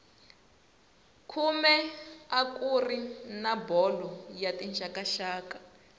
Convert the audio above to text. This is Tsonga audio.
khume a kuri na bolo ya tixakaxaka